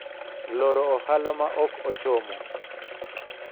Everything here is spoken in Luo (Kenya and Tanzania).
loro ohala ma ok ochomo